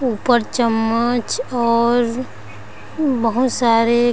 ऊपर चम्मच और बहुत सारे--